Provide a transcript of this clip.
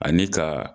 Ani ka